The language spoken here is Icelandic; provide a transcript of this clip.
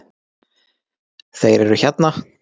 Þeir eru hérna!